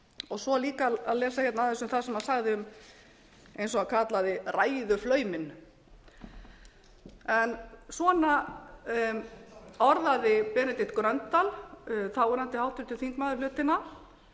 og svo líka að lesa aðeins það sem hann sagði eins og hann kallaði ræðuflauminn en svona orðaði benedikt gröndal þáverandi háttvirtur þingmaður hlutina